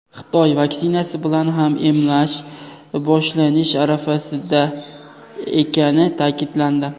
Xitoy vaksinasi bilan ham emlash boshlanish arafasida ekani ta’kidlandi.